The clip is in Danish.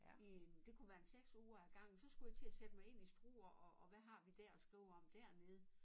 I en det kunne være en 6 uger ad gangen så skulle jeg til at sætte mig ind i Struer og og hvad har vi dér at skrive om dernede